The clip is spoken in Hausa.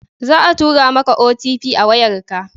Za a tura ma ka "OTP" a wayar ka